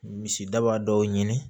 Misidaba dɔw ɲini